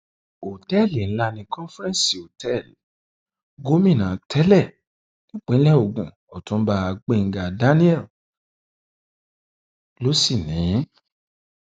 ọtẹẹlì ńlá ní conference hotel gómìnà tẹlẹ nípínlẹ ogun ọtúnba gbẹngàn daniel ló sì ní in